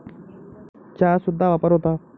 चा सुद्धा वापर होता.